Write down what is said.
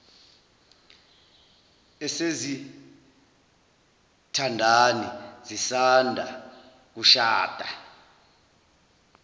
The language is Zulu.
esezithandani zisanda kushada